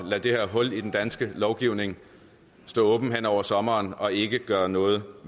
lade det her hul i den danske lovgivning stå åben hen over sommeren og ikke gøre noget